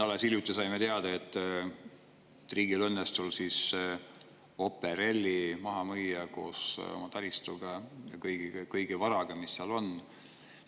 Alles hiljuti saime teada, et riigil õnnestus Operail maha müüa koos taristuga ja kogu varaga, mis seal oli.